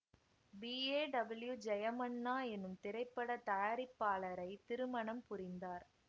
B A W Jayamanna எனும் திரைப்பட தயாரிப்பாளரை திருமணம் புரிந்தார்